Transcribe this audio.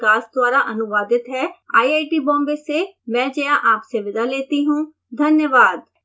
यह स्क्रिप्ट विकास द्वारा अनुवादित है आईआईटी बॉम्बे से मैं जया आपसे विदा लेती हूँ धन्यवाद